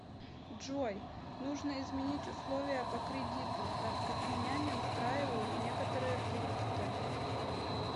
джой нужно изменить условия по кредиту так как меня не устраивают некоторые пункты